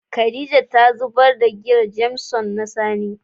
Khadijah ta zubar da giyan "Jameson " na sani.